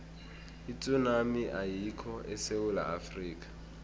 itsunami ayikho esewula afrika